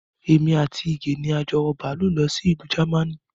Èmi àti Ige ni a jọ wọ bàálù lọ sí ìlú Jámánì